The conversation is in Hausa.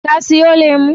Ka siyo lemu?